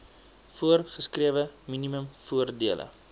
voorgeskrewe minimum voordele